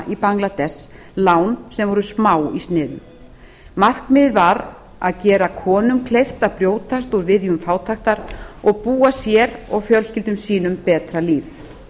í bangladess lán sem voru smá í sniðum markmiðið var að gera konum kleift að brjótast úr viðjum fátæktar og búa sér og fjölskyldum sínum betra líf